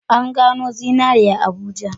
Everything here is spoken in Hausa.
An gano zinari a Abuja.